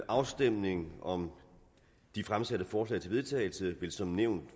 afstemningen om de fremsatte forslag til vedtagelse vil som nævnt